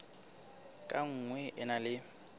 ka nngwe e na le